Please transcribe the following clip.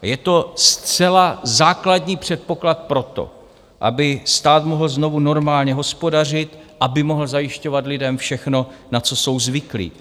Je to zcela základní předpoklad proto, aby stát mohl znovu normálně hospodařit, aby mohl zajišťovat lidem všechno, na co jsou zvyklí.